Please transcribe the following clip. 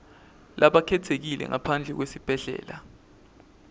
labakhetsekile ngaphandle kwesibhedlela